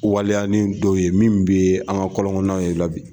Waliya ni dɔw ye min bɛ an ka kɔlɔ kɔnɔnaw la bi.